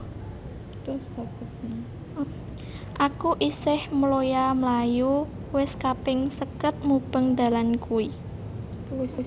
Aku isih mloya mlayu wis kaping seket mubeng dalan kui